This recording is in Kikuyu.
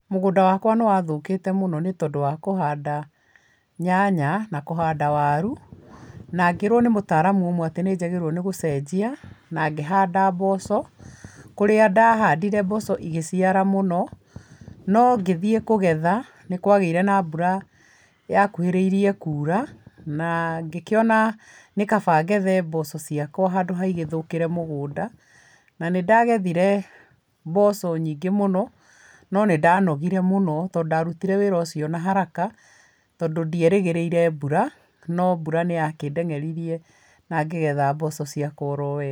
Mũgũnda wakwa nĩwathũkĩte mũno nĩ tondũ wa kũhanda nyanya na kũhanda waru, na ngĩrwo nĩ mũtaaramu ũmwe atĩ nĩnjagĩrĩirwo nĩgũcenjia na ngĩhanda mboco, kũrĩa ndahandire mboco igĩciara mũno, no ngĩthiĩ kũgetha nĩkwagĩire na mbura yakuhĩrĩirie kuura, na ngĩkĩona nĩkaba ngethe mboco ciakwa handũ ha igĩthũkĩre mũgũnda. Na nĩndagethire mboco nyingĩ mũno no nĩndanogire mũno to ndarutire wĩra ũcio na haraka tondũ ndierĩgĩrĩire mbura, no mbura nĩyakĩndeng'eririe na ngĩgetha mboco ciakwa oro wega.